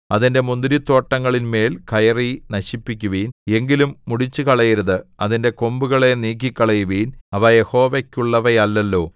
അതിന്റെ മുന്തിരി തോട്ടങ്ങളിന്മേല്‍ കയറി നശിപ്പിക്കുവിൻ എങ്കിലും മുടിച്ചുകളയരുത് അതിന്റെ കൊമ്പുകളെ നീക്കിക്കളയുവിൻ അവ യഹോവയ്ക്കുള്ളവയല്ലല്ലോ